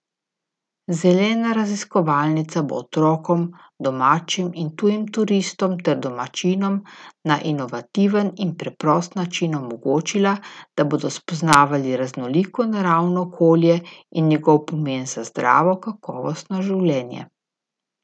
Zelena raziskovalnica bo otrokom, domačim in tujim turistom ter domačinom na inovativen in preprost način omogočila, da bodo spoznavali raznoliko naravno okolje in njegov pomen za zdravo, kakovostno življenje.